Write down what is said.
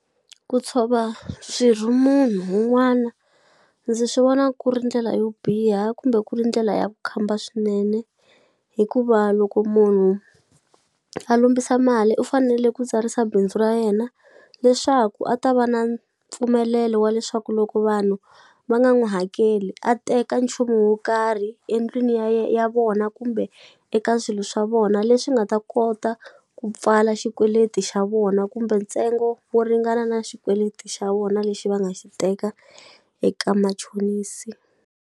Ku tshova swirho munhu wun'wana ndzi swi vona ku ri ndlela yo biha kumbe ku ri ndlela ya vukhamba swinene hikuva loko munhu a lombisa mali u fanele ku tsarisa bindzu ra yena leswaku a ta va na mpfumelelo wa leswaku loko vanhu va nga n'wu hakeli a teka nchumu wo karhi endlwini ya ya vona kumbe eka swilo swa vona leswi nga ta kota ku pfala xikweleti xa vona kumbe ntsengo wo ringana na xikweleti xa vona lexi va nga xi teka eka machonisi.